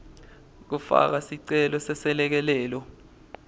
kufaka sicelo seselekelelo